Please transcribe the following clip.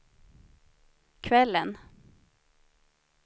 kvällen